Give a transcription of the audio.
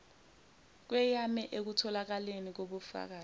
kweyame ekutholakaleni kokbufakazi